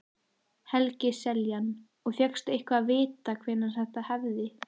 Helgi Seljan: Og fékkstu eitthvað að vita hvenær þetta hefði?